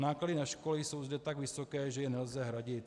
Náklady na školy jsou zde tak vysoké, že je nelze hradit.